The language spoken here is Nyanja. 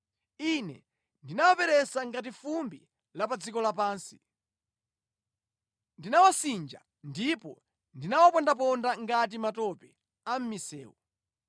Ine ndinawaperesa ngati fumbi la pa dziko lapansi; ndinawasinja ndipo ndinawapondaponda ngati matope a mʼmisewu.